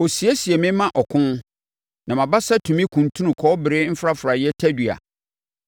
Ɔsiesie me ma ɔko, na mʼabasa tumi kuntunu kɔbere mfrafraeɛ tadua.